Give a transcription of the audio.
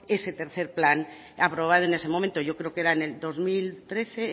ese tercero plan aprobado en ese momento yo creo que era en el dos mil trece